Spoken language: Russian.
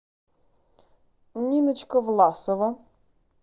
ниночка власова